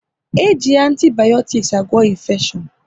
E ji antibayotiks agwa infeshion